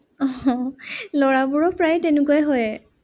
আহ ল'ৰাবোৰৰ প্ৰায় তেনেকুৱাই হয়।